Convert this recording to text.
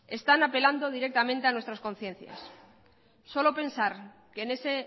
están apelando directamente a nuestras conciencias solo pensar que en ese